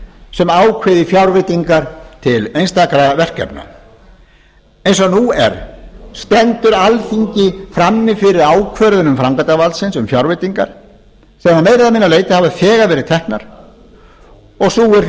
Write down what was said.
sem ákveði fjárveitingar til einstakra verkefna eins og nú er stendur alþingi frammi fyrir ákvörðunum framkvæmdarvaldsins um fjárveitingar sem að meira eða minna leyti hafa þegar verið teknar sú er því